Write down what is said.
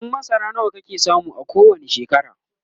buhun masara nawa kake samu a kowani shekara?